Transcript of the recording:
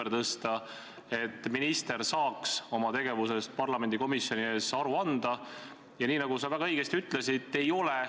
Ma olen selles mõttes nõus, et sõna on vaba, aga arvestagem – eriti teie oma praegusel positsioonil – ka seda, et sõnal on jõud.